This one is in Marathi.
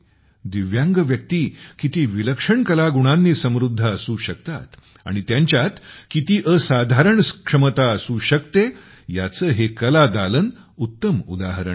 दिव्यांग व्यक्ती किती विलक्षण कला गुणांनी समृद्ध असू शकतात आणि त्यांच्यात किती असाधारण क्षमता असू शकते याचे हे कलादालन उत्तम उदाहरण आहे